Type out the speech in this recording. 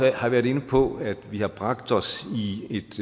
har været inde på at vi har bragt os i et